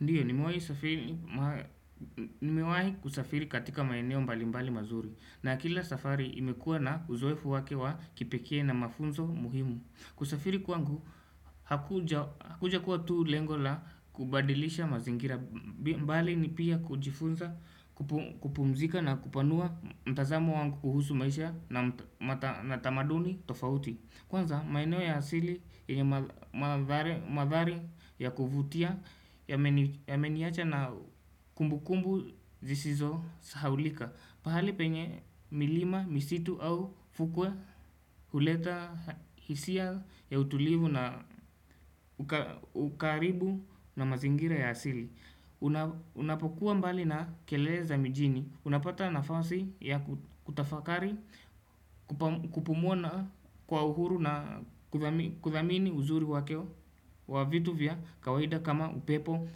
Ndiyo, nimewahi safiri mar.nimewai kusafiri katika maeneo mbalimbali mazuri na kila safari imekua na uzoefu wake wa kipekee na mafunzo muhimu kusafiri kwangu, hakuja hakujakuwa tu lengo la kubadilisha mazingira mbali ni pia kujifunza, kupum kupumzika na kupanua mtazamo wangu kuhusu maisha na matam tamaduni tofauti Kwanza maeneo ya asili ya madhari madhari ya kuvutia yameni yameniacha na kumbukumbu zisizosahaulika pahali penye milima, misitu au fukwe huleta hisia ya utulivu na ukaribu na mazingira ya asili Unapokuwa mbali na kelele za mijini Unapata nafasi ya kutafakari kupumua na kwa uhuru na kuthami kuthamini uzuri wake wa vitu vya kawaida kama upepo,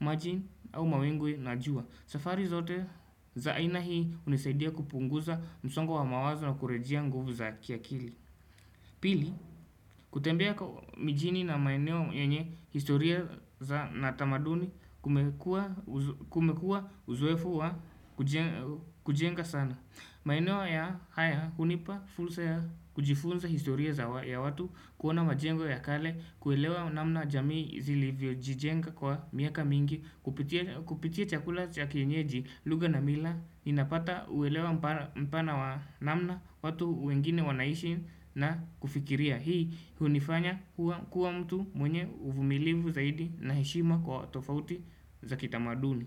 maji au mawingu na jua safari zote za aina hii hunisaidia kupunguza msongo wa mawazo na kurejea nguvu za kiakili Pili, kutembeko mijini na maeneo yenye historia za na tamaduni Kumekua uzoefu wa kuje kujenga sana maeneo ya haya hunipa fursa ya kujifunza historia za ya watu kuona majengo ya kale, kuelewa namna jamii zilivyojijenga kwa miaka mingi Kupitia chakula cha kienyeji, lugha na mila inapata uwelewa mpa mpana wa namna watu wengine wanaishi na kufikiria Hii hunifanya kuwa mtu mwenye uvumilivu zaidi na heshima kwa tofauti za kitamaduni.